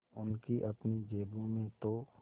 उनकी अपनी जेबों में तो